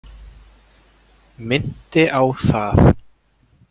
Minnti á það.